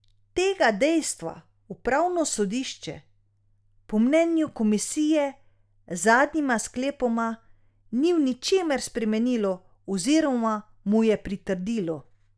Tega dejstva upravno sodišče po mnenju komisije z zadnjima sklepoma ni v ničemer spremenilo oziroma mu je pritrdilo.